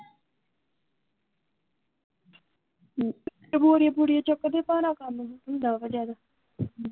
ਬੋਰੀਆਂ ਬੁਰੀਆਂ ਚੁੱਕਦੇ ਭਾਰਾ ਕੰਮ ਹੁੰਦਾ ਆ ਜਦ